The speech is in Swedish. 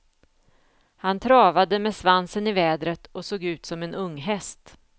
Han travade med svansen i vädret och såg ut som en unghäst.